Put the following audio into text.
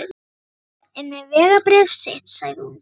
Margrét er með vegabréfið sitt, sagði hún.